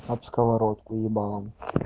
об сковородку ебалом